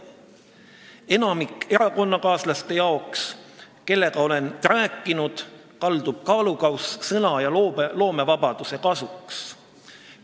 Enamiku erakonnakaaslaste arvates, kellega olen rääkinud, kaldub kaalukauss sõna- ja loomevabaduse kasuks.